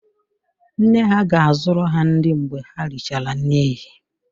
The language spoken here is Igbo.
Nne ha ga-azụrụ ha nri mgbe ha richara nri ehihie